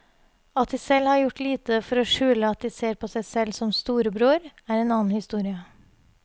At de selv har gjort lite for å skjule at de ser på seg selv som storebror, er en annen historie.